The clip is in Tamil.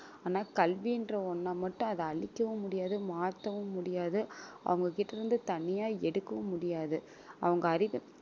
ஆனா கல்வின்ற ஒண்ணை மட்டும் அதை அழிக்கவும் முடியாது மாத்தவும் முடியாது அவங்ககிட்ட இருந்து தனியா எடுக்கவும் முடியாது அவங்க அறிவு